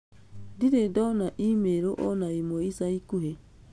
ndirĩ ndona email o na ĩmwe ica ikuhĩ